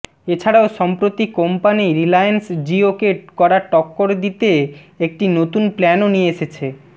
এছাড়াও সম্প্রতি company Reliance Jio কে করা টক্কর দিতে একটি নতুন প্ল্যানও নিয়ে এসছে